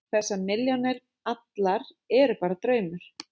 Þessar milljónir allar eru bara draumur.